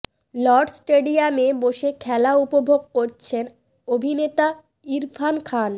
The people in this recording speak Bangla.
লর্ডস স্টেডিয়ামে বসে খেলা উপভোগ করছেন অভিনেতা ইরফান খান